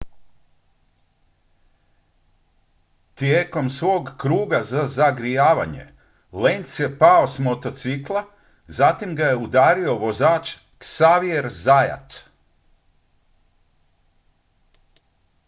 tijekom svog kruga za zagrijavanje lenz je pao s motocikla zatim ga je udario vozač xavier zayat